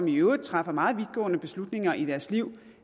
i øvrigt træffer meget vidtgående beslutninger i deres liv